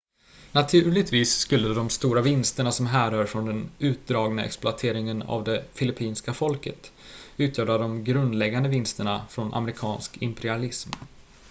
naturligtvis skulle de stora vinsterna som härrör från den utdragna exploateringen av det filippinska folket utgöra de grundläggande vinsterna från amerikansk imperialism